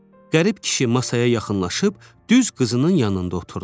Qərib kişi masaya yaxınlaşıb düz qızının yanında oturdu.